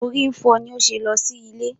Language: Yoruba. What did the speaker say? She was having headache that was she went home.